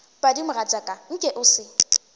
padi mogatšaka nke o se